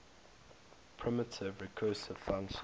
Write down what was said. primitive recursive function